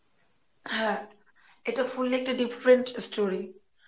হ্যাঁ এটা fully একটা deferent story